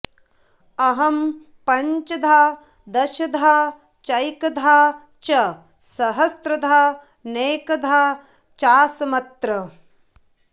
अहं पञ्चधा दशधा चैकधा च सहस्रधा नेकधा चासमत्र